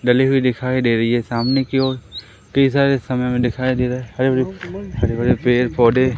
डली हुई दिखाई दे रही है सामने की ओर पिज्जा इस समय में दिखाई दे रहा है हरे भरे हरे भरे पेड़ पौधे--